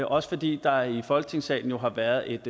også fordi der i folketingssalen jo har været et